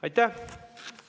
Aitäh!